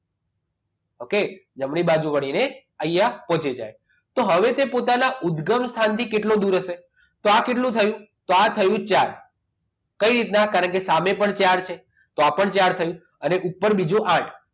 okay જમણી બાજુ વળીને અહીંયા પહોંચી જાય તો હવે પોતાના ઉદગમ સ્થાનથી કેટલું દૂર હશે તો આ કેટલું થયું ચાર થયું ચાર કઈ રીતના કારણ કે સામે પણ ચાર છે તો આ પણ ચાર થયું અને ઉપર બીજું આઠ